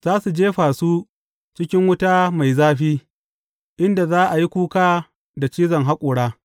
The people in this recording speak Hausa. Za su jefa su cikin wuta mai zafi, inda za a yi kuka da cizon haƙora.